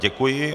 Děkuji.